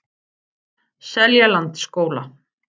Seljalandsskóla